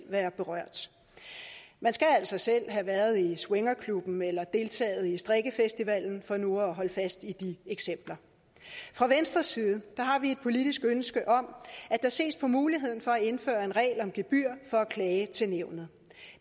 være berørt man skal altså selv have været i swingerklubben eller deltaget i strikkefestivalen for nu at holde fast i de eksempler fra venstres side har vi et politisk ønske om at der ses på muligheden for at indføre en regel om gebyr for at klage til nævnet